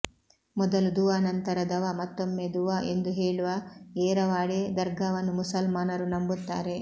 ಮೊದಲು ದುವಾ ನಂತರ ದವಾ ಮತ್ತೊಮ್ಮೆ ದುವಾ ಎಂದು ಹೇಳುವ ಏರವಾಡಿ ದರ್ಗಾವನ್ನು ಮುಸಲ್ಮಾನರು ನಂಬುತ್ತಾರೆ